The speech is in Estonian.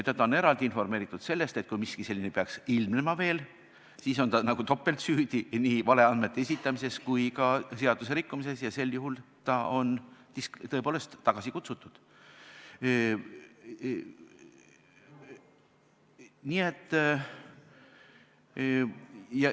Teda on eraldi informeeritud sellest, et kui midagi sellist peaks ilmnema, siis on ta topeltsüüdi – nii valeandmete esitamises kui ka seaduse rikkumises – ja sel juhul on ta tõepoolest tagasi kutsutud.